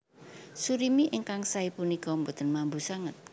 Surimi ingkang saé punika boten mambu sanget